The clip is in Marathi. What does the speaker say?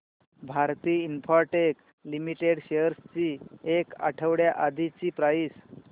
भारती इन्फ्राटेल लिमिटेड शेअर्स ची एक आठवड्या आधीची प्राइस